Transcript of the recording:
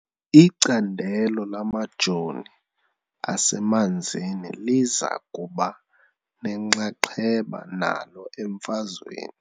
Icandelo lamajoo asemanzini liza kuba nenxaxheba nalo emfazweni .